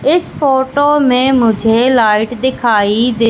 इस फोटो में मुझे लाइट दिखाई दे--